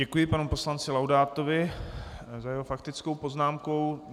Děkuji panu poslanci Laudátovi za jeho faktickou poznámku.